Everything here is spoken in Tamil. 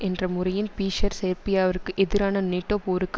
என்ற முறையின் பிஷர் செர்பியாவிற்கு எதிரான நேட்டோ போருக்கு